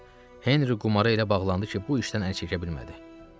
Henri qumara elə bağlandı ki, bu işdən əl çəkə bilmədi.